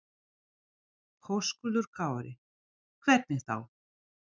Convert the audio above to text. Höskuldur Kári: Hvernig þá?